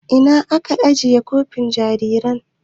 Ina ka ajiye kofin jaririn.